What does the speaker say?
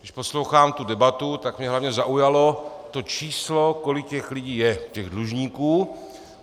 Když poslouchám tu debatu, tak mě hlavně zaujalo to číslo, kolik těch lidí je, těch dlužníků.